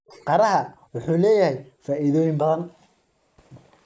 Qaraha wuxuu leeyahay faa'iidooyin badan.